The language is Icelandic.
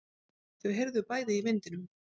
Þau heyrðu bæði í vindinum.